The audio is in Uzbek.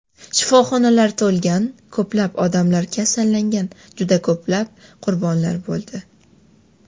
Shifoxonalar to‘lgan, ko‘plab odamlar kasallangan, juda ko‘plab qurbonlar bo‘ldi.